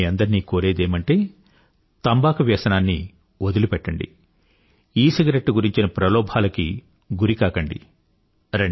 నేను మీ అందరినీ కోరేదేమిటంటే తంబాకు వ్యసనాన్ని వదిలిపెట్టండి ఈసిగరెట్టు గురించిన ప్రలోభాలకి గురికాకండి